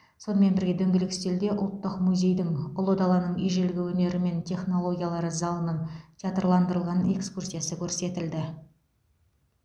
сонымен бірге дөңгелек үстелде ұлттық музейдің ұлы даланың ежелгі өнері мен технологиялары залының театрландырылған экскурсиясы көрсетілді